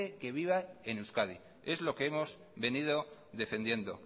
que viva en euskadi es lo que hemos venido defendiendo